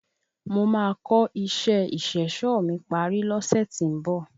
Mo màá kò isé ìṣẹ̀ṣọ̀ mi parí lọ́sẹ̀ tí ń bọ̀.